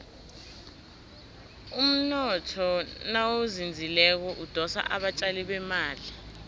umnotho nawuzinzileko udosa abatjali bemali